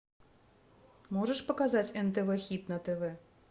можешь показать нтв хит на тв